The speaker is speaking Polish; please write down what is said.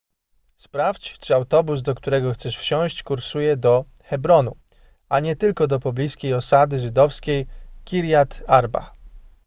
sprawdź czy autobus do którego chcesz wsiąść kursuje do hebronu a nie tylko do pobliskiej osady żydowskiej kirjat arba